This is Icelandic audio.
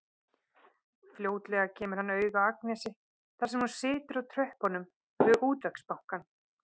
Fljótlega kemur hann auga á Agnesi þar sem hún situr á tröppunum við Útvegsbankann.